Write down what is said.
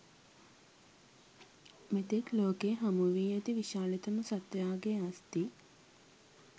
මෙතෙක් ලෝකයේ හමු වී ඇති විශාලතම සත්වයාගේ අස්ථි